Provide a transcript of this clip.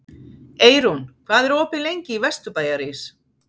Eyrún, hvað er opið lengi í Vesturbæjarís?